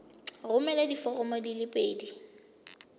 romela diforomo di le pedi